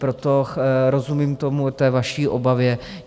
Proto rozumím tomu, té vaší obavě.